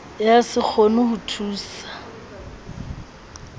ya se kgone ho thusa